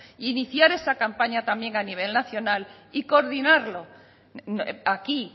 e iniciar esa campaña también a nivel nacional y coordinarlo aquí